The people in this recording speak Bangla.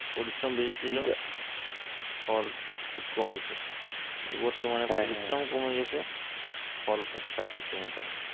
পরিশ্রম বেশি সিলো ফল খুব কম হয়তো বতর্মানে পরিশ্রম কমে গেসে ফল পাইতেসে মোটামুটি